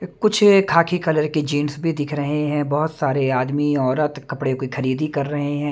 कुछ खाखी कलर की जींस भी दिख रहे हैं बहुत सारे आदमी औरत कपड़े की खरीदी कर रहे हैं।